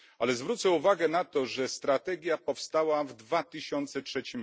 Ale zwrócę uwagę na to, że strategia powstała w 2003